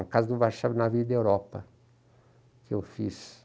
Na casa do Warchavchik , na Avenida Europa, que eu fiz.